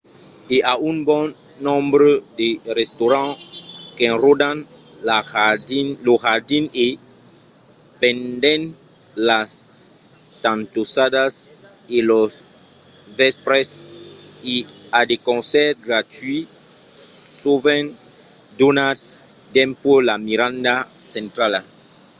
i a un bon nombre de restaurants qu'enròdan lo jardin e pendent las tantossadas e los vèspres i a de concèrts gratuïts sovent donats dempuèi la miranda centrala